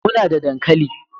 Muna da dankali